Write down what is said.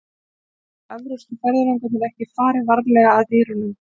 Sennilega hafa evrópsku ferðalangarnir ekki farið varlega að dýrunum.